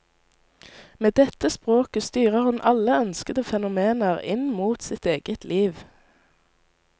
Med dette språket styrer hun alle ønskede fenomener inn mot sitt eget liv.